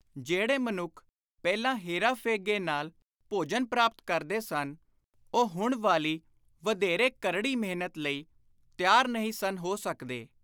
ਜਿਹੜੇ ਮਨੁੱਖ ਪਹਿਲਾਂ ਹੇਰਾ-ਫੇਗੇ ਨਾਲ ਭੋਜਨ ਪ੍ਰਾਪਤ ਕਰਦੇ ਸਨ, ਉਹ ਹੁਣ ਵਾਲੀ ਵਧੇਰੇ ਕਰੜੀ ਮਿਹਨਤ ਲਈ ਤਿਆਰ ਨਹੀਂ ਸਨ ਹੋ ਸਕਦੇ।